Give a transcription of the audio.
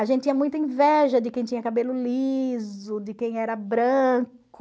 A gente tinha muita inveja de quem tinha cabelo liso, de quem era branco.